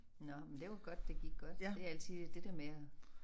Nåh men det var godt det gik godt det er altid det der med at